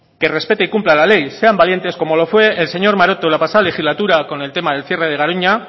que respete y cumpla la ley sean valientes como lo fue el señor maroto en la pasada legislatura con el tema del cierre de garoña